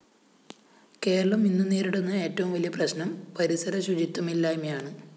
കേരളം ഇന്നു നേരിടുന്ന ഏറ്റവും വലിയ പ്രശ്‌നം പരിസരശുചിത്വമില്ലായ്മയാണ്